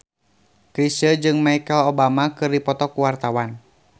Chrisye jeung Michelle Obama keur dipoto ku wartawan